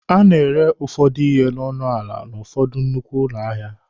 A na-ere ụfọdụ ihe n'ọnụ ala n'ụfọdụ nnukwu ahịa.